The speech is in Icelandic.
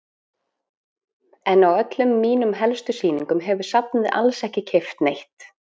En á öllum mínum helstu sýningum hefur safnið alls ekki keypt neitt.